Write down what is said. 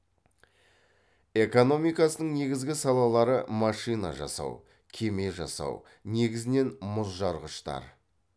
экономикасының негізгі салалары машина жасау кеме жасау негізінен мұзжарғыштар